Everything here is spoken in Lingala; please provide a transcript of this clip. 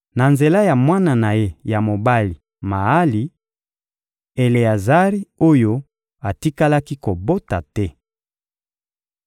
Na nzela ya mwana na ye ya mobali Maali: Eleazari oyo atikalaki kobota te.